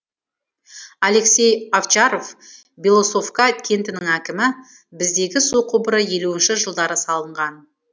алексей овчаров белоусовка кентінің әкімі біздегі су құбыры елуінші жылдары салынған